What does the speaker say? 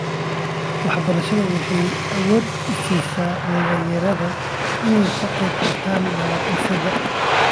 Waxbarashadu waxa ay awood u siisaa dhalinyarada in ay ka qayb qaataan nabad-dhisidda.